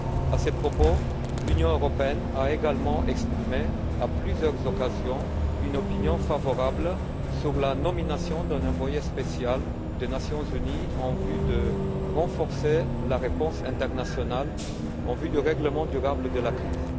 À ce propos, l'Union européenne a également exprimé, à plusieurs occasions, une opinion favorable sur la nomination d'un envoyé spécial des Nations unies pour renforcer la réponse internationale en vue du règlement durable de la crise.